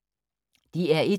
DR1